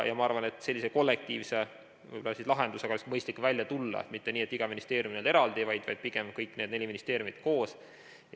Ma arvan, et sellise kollektiivse lahendusega oleks mõistlik välja tulla, mitte nii, et iga ministeerium eraldi, vaid pigem kõik need neli ministeeriumi koos.